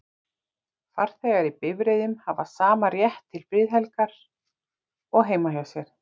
farþegar í bifreiðum hafa sama rétt til friðhelgi og heima hjá sér